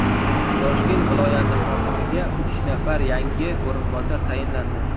Toshkent viloyati hokimiga uch nafar yangi o‘rinbosar tayinlandi.